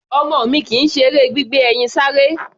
Ọmọ mi kì í ṣe eré gbígbé ẹyin sáré.